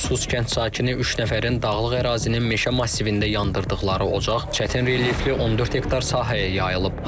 Sus kənd sakini üç nəfərin dağlıq ərazinin meşə massivində yandırdıqları ocaq çətin relyefli 14 hektar sahəyə yayılıb.